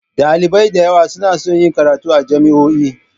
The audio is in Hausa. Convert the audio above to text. Ɗalibai da yawa suna so su yi karatu a jami'o'i